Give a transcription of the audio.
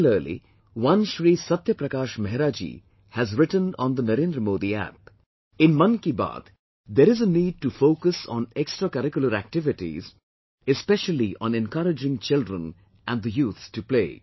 Similarly, one Shri Satya Prakash Mehra ji has written on NarednraModiApp "In Mann Ki Baat, there is a need to focus on extracurricular activities, especially on encouraging children and youth to play